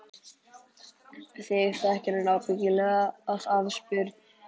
Þig þekkir hann ábyggilega af afspurn.